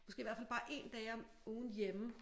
Måske i hvert fald bare 1 dag om ugen hjemme